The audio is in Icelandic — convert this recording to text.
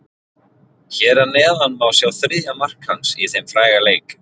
Hér að neðan má sjá þriðja mark hans í þeim fræga leik.